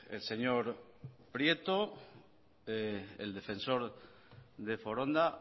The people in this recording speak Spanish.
el señor prieto el defensor de foronda